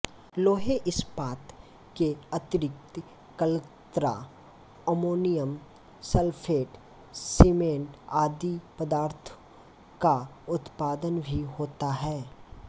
लोहे इस्पात के अतिरिक्त अल्कतरा अमोनियम सल्फेट सीमेंट आदि पदार्थो का उत्पादन भी होता है